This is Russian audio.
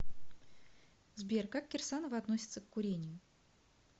сбер как кирсанова относиться к курению